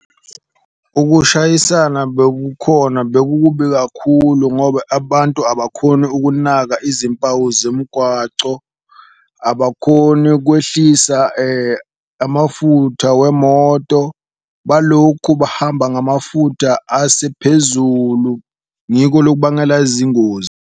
Ukushayisana bekukhona bekukubi kakhulu ngoba abantu abakhoni ukunaka izimpawu zemigwaco, abakhoni ukwehlisa amafutha wemoto balokhu bahamba ngamafutha asephezulu. Ngiko lokubangela zingozi.